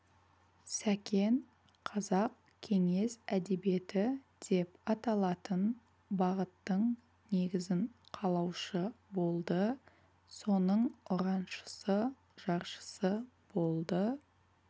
сәкен қазақ кеңес әдебиеті деп аталатын бағыттың негізін қалаушы болды соның ұраншысы жаршысы болды